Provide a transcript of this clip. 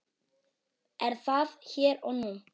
Er það hér og nú?